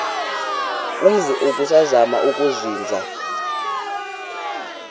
umzi ubusazema ukuzinza